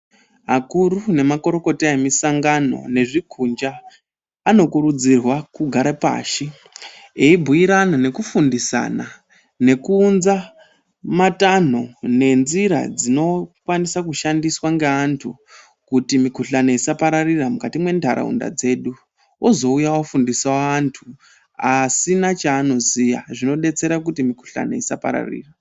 Akuru nemakurukota emusangano nezvikuxa anokurudzirwa kugare pashi eibhuyirana nekufundisana nekuunza matanho nenzira dzinokwanisa kushandiswa ngeantu kuti mikhuhlani isapararira mukati mwenharaunda dzedu ozouya ofundisa anhu asina chaanoziya zvinodetsera kuti mikhuhlani isapararira.